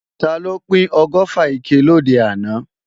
Taló pín ọgọ́fà ike lòde àná?